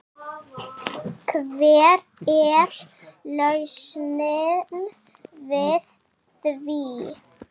Hver er lausnin við því?